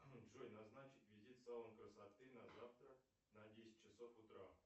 джой назначить визит в салон красоты на завтра на десять часов утра